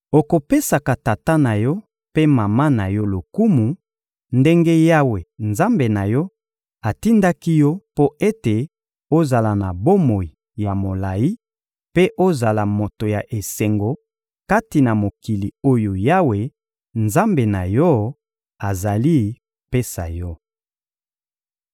Okopesaka tata na yo mpe mama na yo lokumu, ndenge Yawe, Nzambe na yo, atindaki yo mpo ete ozala na bomoi ya molayi, mpe ozala moto ya esengo kati na mokili oyo Yawe, Nzambe na yo, azali kopesa yo.